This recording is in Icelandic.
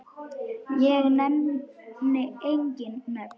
Ég nefni engin nöfn.